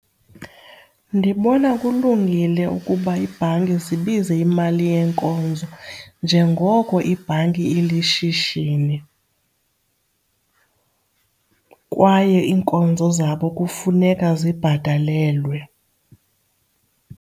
Ndibona kulungile ukuba iibhanki zibize imali yeenkonzo njengoko ibhanki ilishishini, kwaye iinkonzo zabo kufuneka zibhatalelwe.